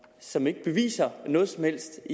som ikke beviser noget som helst